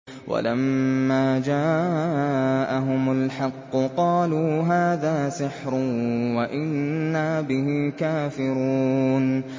وَلَمَّا جَاءَهُمُ الْحَقُّ قَالُوا هَٰذَا سِحْرٌ وَإِنَّا بِهِ كَافِرُونَ